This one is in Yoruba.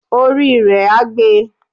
Orí rẹ á gbe.